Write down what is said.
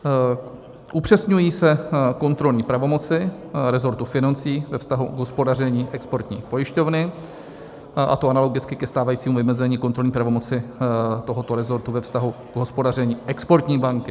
Upřesňují se kontrolní pravomoci resortu financí ve vztahu k hospodaření exportní pojišťovny, a to analogicky ke stávajícímu vymezení kontrolní pravomoci tohoto resortu ve vztahu k hospodaření exportní banky.